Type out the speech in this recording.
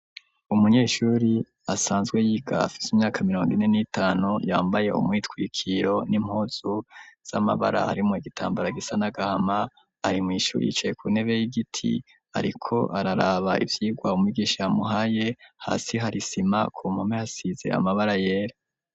Umunyeshuri asanzwe y'igafise imyaka mirongo ine n'itanu yambaye umwitwikiro n'impozu z'amabara harimwo igitambara gisanagama arimwishuri yicaye ku ntebe y'igiti, ariko araraba ivyirwa mwigisha amuhaye hasi harisima ku mpome hasizera amabara yera.